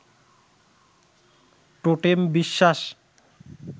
টোটেম-বিশ্বাস